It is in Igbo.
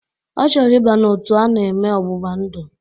Ọ chọrọ ịba n'otu a na-eme ọgbụgba ndụ